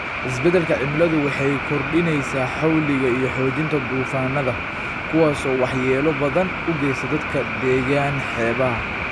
Isbeddelka cimiladu waxay kordhinaysaa xawliga iyo xoojinta duufaannada, kuwaas oo waxyeello badan u geysta dadka deggan xeebaha.